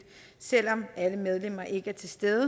selv om alle medlemmer ikke er til stede